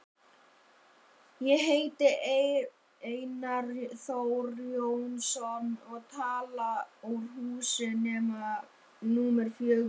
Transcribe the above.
Ég heiti Einar Þór Jónsson og tala úr húsi númer fjögur.